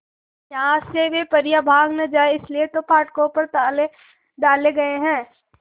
यहां से वे परियां भाग न जाएं इसलिए तो फाटकों पर ताले डाले गए हैं